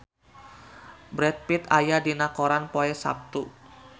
Brad Pitt aya dina koran poe Saptu